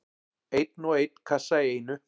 Einn og einn kassa í einu.